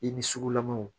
I ni sugulamaw